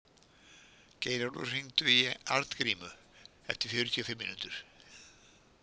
Geirólfur, hringdu í Arngrímu eftir fjörutíu og fimm mínútur.